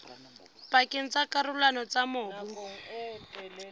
pakeng tsa dikarolwana tsa mobu